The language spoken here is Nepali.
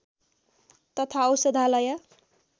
तथा औषधालय